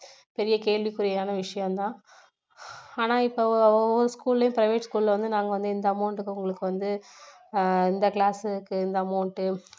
பெரிய கேள்விக்குறியான விஷயம் தான் ஆனால் இப்போ ஒவ்வொரு school லயும் private school ல வந்து நாங்க வந்து எந்த amount க்கு உங்களுக்கு வந்து இந்த class க்கு இந்த amount